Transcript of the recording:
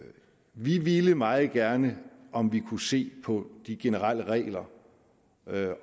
vi ville meget gerne om vi kunne se på de generelle regler